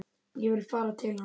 Ég vil fara til hans.